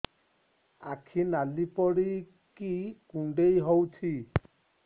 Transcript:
ଆଖି ନାଲି ପଡିକି କୁଣ୍ଡେଇ ହଉଛି